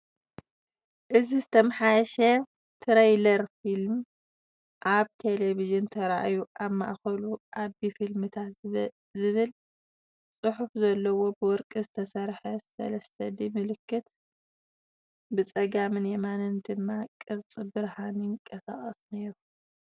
እዚ ዝተመሓየሸ ትረይለር ፊልም ኣብ ቴሌቪዥን ተራእዩ፡ ኣብ ማእከሉ 'ኣቢ ፊልምታት' ዝብል ጽሑፍ ዘለዎ ብወርቂ ዝተሰርሐ 3D ምልክት፡ ብጸጋምን የማናይን ድማ ቅርጺ ብርሃን ይንቀሳቐስ ነይሩ።